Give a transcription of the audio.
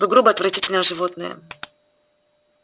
вы грубое отвратительное животное